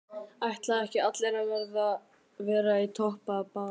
Ætla ekki allir að vera í toppbaráttu?